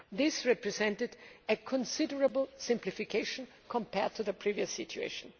This represented a considerable simplification compared to the previous situation.